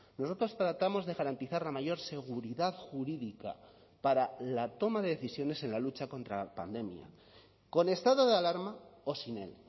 nosotros tratamos de garantizar la mayor seguridad jurídica para la toma de decisiones en la lucha contra la pandemia con estado de alarma o sin él